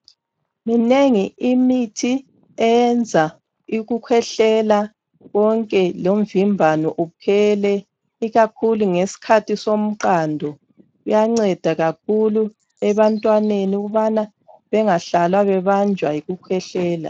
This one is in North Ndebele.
Minengi imithi eyenza ukukhohlela konke lomvimbano uphele ikakhulu ngeskhathi somqando. Kuyanceda kakhulu ebantwaneni ukubana bengahlali ebanjwa yikukhwehlela.